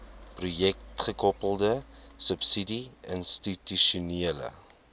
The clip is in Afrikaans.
projekgekoppelde subsidie institusionele